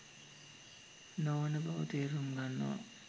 නොවන බව තේරුම් ගන්නවා.